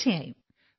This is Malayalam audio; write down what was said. തീർച്ചയായും